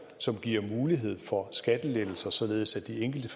som giver mulighed for skattelettelser således at de enkelte